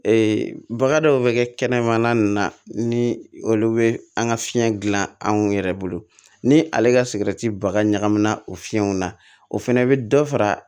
Ee baga dɔw bɛ kɛ kɛnɛmana ninnu na ni olu bɛ an ka fiɲɛ gilan anw yɛrɛ bolo ni ale ka sigɛriti baga ɲagamina o fiɲɛw na o fɛnɛ bɛ dɔ fara